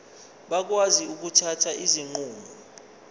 bakwazi ukuthatha izinqumo